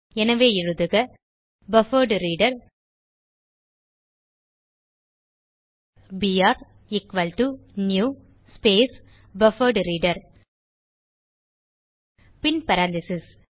எனவே எழுதுக buffered reader BR equal to new space buffered reader பின் பேரெந்தீசஸ்